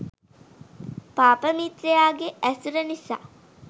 පාප මිත්‍රයාගේ ඇසුර නිසා